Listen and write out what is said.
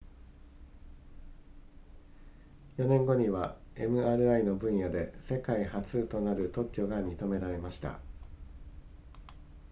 4年後には mri の分野で世界初となる特許が認められました